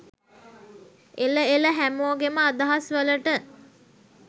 එල එල හැමෝගෙම අදහස් වලට